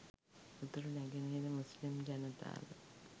උතුරු නැගෙනහිර මුස්ලිම් ජනතාව